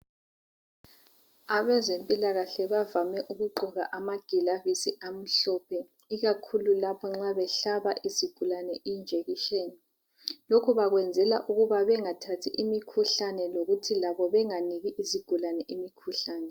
Abezempilakahle bavame ukugqoka amagilavisi amhlophe ikakhulu lapho nxa behlaba izigulane injekishini. Lokhu bakwenzela ukuba bengathathi imikhuhlane lokuthi labo benganiki izigulane imikhuhlane.